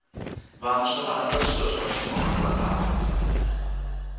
vantshwa varandza swilo swa ximanguva lawa